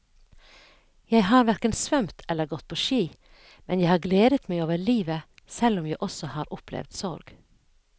Jeg har hverken svømt eller gått på ski, men jeg har gledet meg over livet selv om jeg også har opplevd sorg.